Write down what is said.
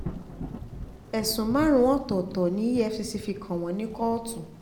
ẹ̀sùn márùn-ún ọ̀tọ̀ọ̀tọ̀ ni efcc fi kàn wọ́n ní kóòtù um